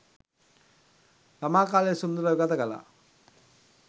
ළමා කාලය සුන්දරව ගත කළා.